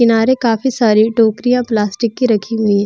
किनारे काफी सारी टोकरियाँ प्लास्टिक की रखी हुइ हैं।